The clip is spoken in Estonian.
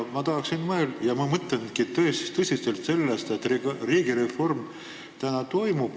Ma tahan mõelda ja ma mõtlengi tõsiselt sellest, et riigireform nüüd toimub.